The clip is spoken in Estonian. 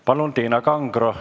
Palun, Tiina Kangro!